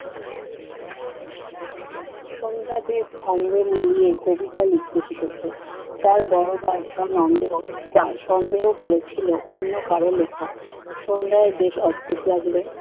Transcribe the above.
সন্ধ্যাদীপ ছন্দ মিলিয়ে কবিতা লিখতে শিখেছে। তার বড় দাদা নন্দ তাকে সন্দেহ করেছিল অন্য কারো লিখা। সন্ধ্যার বেশ অদ্ভুত লাগলো